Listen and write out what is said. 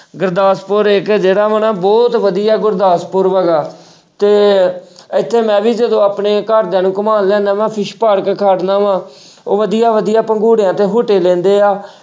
ਗੁਰਦਾਸਪੁਰ ਇੱਕ ਜਿਹੜਾ ਵਾ ਨਾ ਬਹੁਤ ਵਧੀਆ ਗੁਰਦਾਸਪੁਰ ਹੈਗਾ ਤੇ ਇੱਥੇ ਮੈਂ ਵੀ ਜਦੋਂ ਆਪਣੇ ਘਰਦਿਆਂ ਨੂੰ ਘੁੰਮਾਉਣ fish ਪਾਰਕ ਖੜਨਾ ਵਾਂ ਉਹ ਵਧੀਆ ਵਧੀਆ ਪੰਘੂੜਿਆਂ ਤੇ ਝੂਟੇ ਲੈਂਦੇ ਆ,